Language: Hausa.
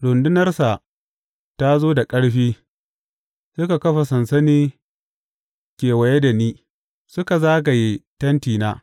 Rundunarsa ta zo da ƙarfi; suka kafa sansani kewaye da ni, suka zagaye tentina.